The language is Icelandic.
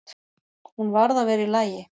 Hún varð að vera í lagi.